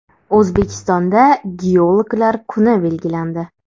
O‘zbekistonda geologlar kuni belgilandi.